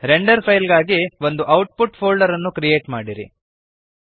render file ಗಳಿಗಾಗಿ ಒಂದು output folder ಅನ್ನು ಕ್ರಿಯೇಟ್ ಮಾಡಿರಿ